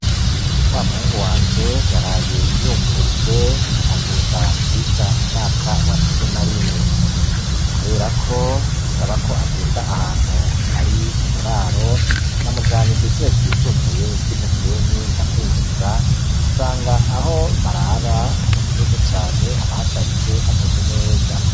Wa muhungu wanje yaraye yungurujwe agenda kwiga mu mwaka wa cumi na rimwe, kubera ko bisaba ko agenda ahantu hari uburaro na mujanye kw'ishure ry'isumbuye ry'iMusenyi ndamwinjiza nsanga aho barara, hameze neza cane habahasharije hashashe neza.